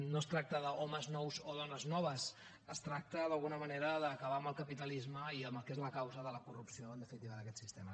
no es tracta d’homes nous o dones noves es tracta d’alguna manera d’acabar amb el capitalisme i amb el que és la causa de la corrupció en definitiva d’aquest sistema